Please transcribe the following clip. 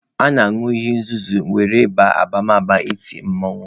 A na-añụ iyi nzuzo were baa abamaba iti mmanwụ.